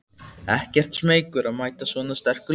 Ekkert smeykur að mæta svona sterku liði?